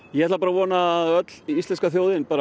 ég ætla bara að vona að öll íslenska þjóðin